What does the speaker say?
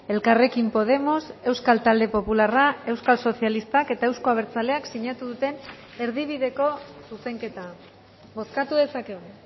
elkarrekin podemos euskal talde popularra euskal sozialistak eta euzko abertzaleak sinatu duten erdibideko zuzenketa bozkatu dezakegu